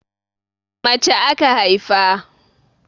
Mace aka haifa.